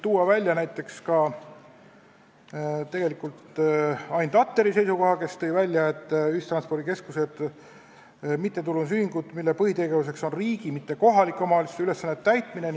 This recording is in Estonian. Toon näiteks välja Ain Tatteri seisukoha, kes ütles, et ühistranspordikeskused on mittetulundusühingud, mille põhitegevuseks on riigi, mitte kohaliku omavalitsuse ülesannete täitmine.